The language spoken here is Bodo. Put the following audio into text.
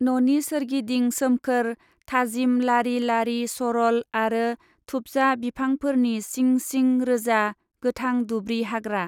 न'नि सोरगिदिं सोमखोर, थाजिम लारि लारि सरल आरो थुबजा बिफांफोरनि सिं सिं रोजा, गोथां दुब्रि हाग्रा।